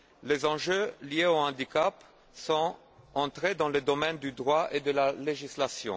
Les enjeux liés au handicap sont entrés dans le domaine du droit et de la législation.